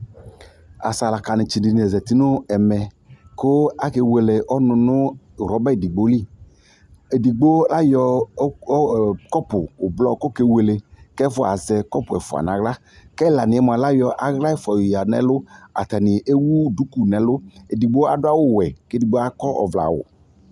Asalakanɩtsɩ dɩnɩ la zati nʋ ɛmɛ kʋ akewele ɔnʋ nʋ rɔba edigbo li Edigbo ayɔ ɔɣ ɔ kɔpʋ ʋblɔ kʋ ɔkewele kʋ ɛfʋa azɛ kɔpʋ ɛfʋa nʋ aɣla kʋ ɛlanɩ yɛ mʋa, ayɔ aɣla ɛfʋa yɔyǝ nʋ ɛlʋ Atanɩ ewu duku nʋ ɛlʋ Edigbo adʋ awʋwɛ kʋ edigbo akɔ ɔvlɛawʋ